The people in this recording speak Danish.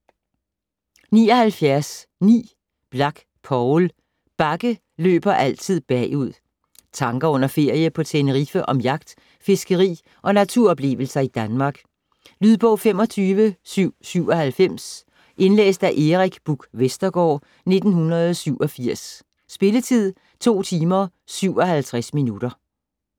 79.9 Blak, Poul: Bukke løber altid bagud Tanker under en ferie på Tenerife om jagt, fiskeri og naturoplevelser i Danmark. Lydbog 25797 Indlæst af Erik Buch Vestergaard, 1987. Spilletid: 2 timer, 57 minutter.